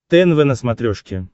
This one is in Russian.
тнв на смотрешке